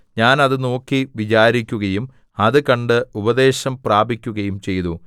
ഞാൻ അത് നോക്കി വിചാരിക്കുകയും അത് കണ്ട് ഉപദേശം പ്രാപിക്കുകയും ചെയ്തു